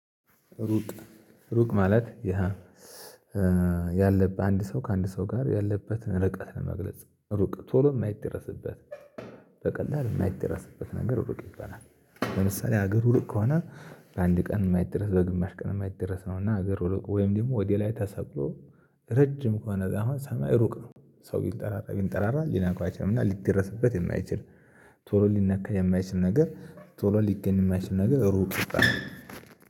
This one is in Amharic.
ሩቅ ሩቅ ማለት ያ ያለበት አንድ ሰው ከአንድ ሰው ጋር ያለበትን ርቀት ለመግለጽ ሩቅ ቶሎ የማይደረስበት በቀላሉ የማይደረስበት ነገር ሩቅ ይባላል። ለምሳሌ ሀገሩ ሩቅ ከሆነ በአንድ ቀን የማይደረስ በግማሽ ቀን የማይደረስ ነው እና ሀገር ሩቅ ወይም ደግሞ ወደ ላይ ተሰቅሎ ረጅም ከሆነ አሁን ሰማይ ሩቅ ነው። ሰው ቢል ጠራራ ቢል ጠራራ ሊነካቸውም እና ሊደረስበት የማይችል ቶሎ ሊነካ የማይችል ነገር ቶሎ ሊገኝ የማይችል ነገር ሩቅ ይባላል